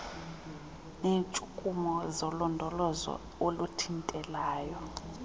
neetshukumo zolondolozo oluthintelayo